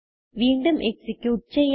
വീണ്ടും എക്സിക്യൂട്ട് ചെയ്യാം